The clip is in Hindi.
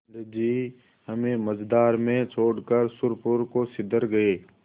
पंडित जी हमें मँझधार में छोड़कर सुरपुर को सिधर गये